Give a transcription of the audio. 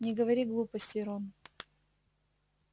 не говори глупостей рон